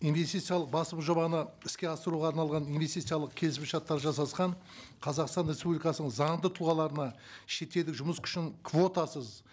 инвестициялық басым жобаны іске асыруға арналған инвестициялық келісімшарттар жасасқан қазақстан республикасының заңды тұлғаларына шетелдік жұмыс күшін квотасыз